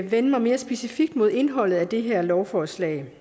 vende mig mere specifikt mod indholdet af det her lovforslag